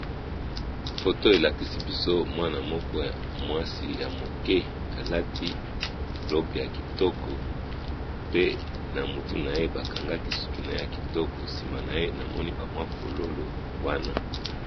Photo oyo elakisi biso mwana mwasi moko yamuke alati robe ya kitoko pe bakangiye suki kitoko penza